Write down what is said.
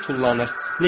Pişik tullanır.